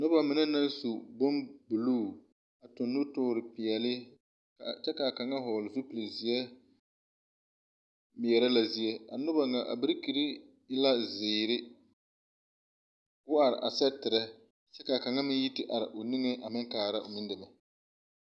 Nobɔ mine naŋ su bon bluu tuŋ nutoore peɛɛle a kyɛ kaa kaŋa hɔɔle zupil zeɛ meɛɛrɛ la zie a noba ŋa birikirre e la zeere ko are a sɛterrɛ kaa kaŋa meŋ yi te are o niŋeŋ a meŋ kaara o meŋ deme.